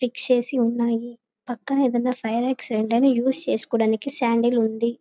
Fix చేసి వున్నాయి. పక్కన ఏదన్నా ఫైర్ ఆక్సిడెంట్ అని ఉస్ చేసుకోడానికిశాండిల్ ఉంది.